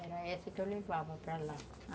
Era essa que eu levava para lá.